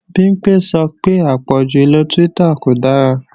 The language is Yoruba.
Bimpé sọ pé àpọ̀jù ìlo Twitter kò dára